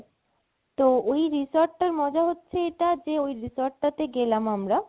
তো ওই resort টার মজা হচ্ছে এটা যে ওই resort টাতে গেলাম আমরা